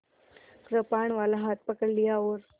कृपाणवाला हाथ पकड़ लिया और